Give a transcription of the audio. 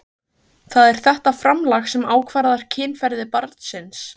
Það er þetta framlag sem ákvarðar kynferði barnsins.